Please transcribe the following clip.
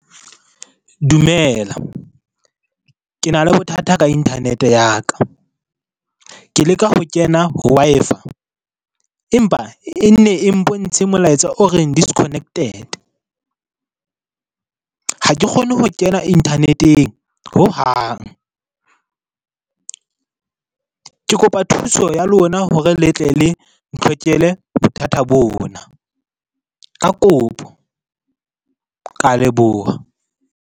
Dumela ke na le bothata ka Internet ya ka. Ke leka ho kena ho Wi-Fi empa e nne e mpontshe molaetsa o reng, disconnected. Ha ke kgone ho kena internet-eng ho hang. Ke kopa thuso ya lona hore le tle le bothata bona ka kopo. Ka leboha.